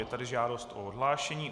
Je tady žádost o odhlášení.